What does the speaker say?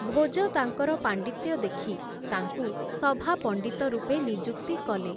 ଭୋଜ ତାଙ୍କର ପାଣ୍ଡିତ୍ୟ ଦେଖି, ତାଙ୍କୁ ସଭାପଣ୍ଡିତ ରୂପେ ନିଯୁକ୍ତି କଲେ ।